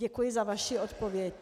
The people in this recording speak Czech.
Děkuji za vaši odpověď.